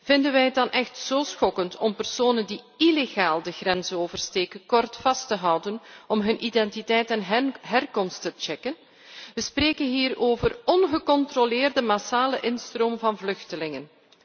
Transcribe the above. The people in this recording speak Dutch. Vinden wij het dan echt zo schokkend om personen die illegaal de grens oversteken kort vast te houden om hun identiteit en herkomst te checken? We spreken hier over ongecontroleerde massale instroom van vluchtelingen.